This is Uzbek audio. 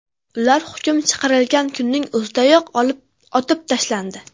Ular hukm chiqarilgan kunning o‘zidayoq otib tashlandi.